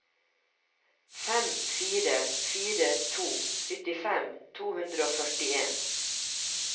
fem fire fire to syttifem to hundre og førtien